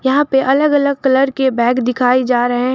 यहां पे अलग अलग कलर के बैग दिखाई जा रहे हैं।